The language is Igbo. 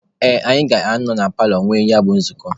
Ee, anyị ga-anọ na paalọ nwee ya bụ nzukọ.